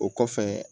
O kɔfɛ